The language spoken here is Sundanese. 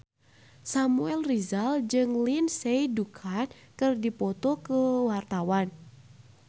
Samuel Rizal jeung Lindsay Ducan keur dipoto ku wartawan